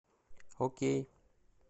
окей